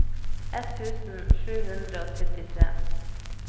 ett tusen sju hundre og syttitre